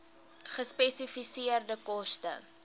gespesifiseerde koste